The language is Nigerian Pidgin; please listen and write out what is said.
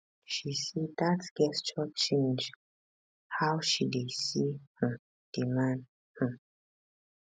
she say dat gesture change how she dey see um di man um